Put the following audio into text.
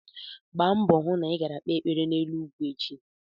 Gba mbọ hụ na i gara kpee ekpere n'elu ugwu echi!